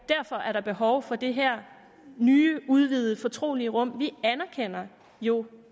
derfor er der behov for det her nye udvidede fortrolige rum ja vi anerkender jo